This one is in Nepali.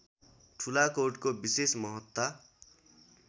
ठुलाकोटको विशेष महत्ता